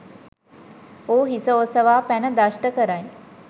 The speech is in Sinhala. ඌ හිස ඔසවා පැන දෂ්ට කරයි.